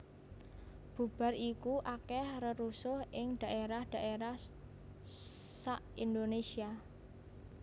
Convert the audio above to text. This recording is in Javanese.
Bubar iku akèh rerusuh ing dhaérah dhaérah sa Indonésia